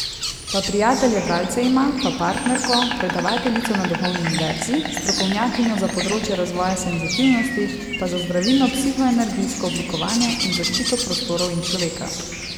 Pa prijatelje bralce ima, pa partnerko, predavateljico na duhovni univerzi, strokovnjakinjo za področje razvoja senzitivnosti pa za zdravilno psihoenergijsko oblikovanje in zaščito prostorov in človeka.